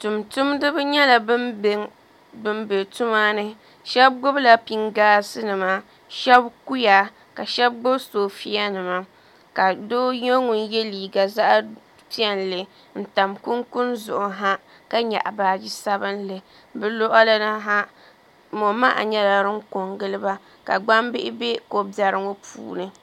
Tumtumdiba nyɛla bin bɛ tuma ni shab gbunila pingaas nima shab kuya ka shab gbubi soofiya nima ka doo nyɛ ŋun yɛ liiga zaɣ piɛlli n tam kunikuni zuɣu ha ka baaji sabunli bi luɣuli ni ha mo maha nyɛla din ko n giliba ka gbambihi bɛ ko biɛri ŋo puuni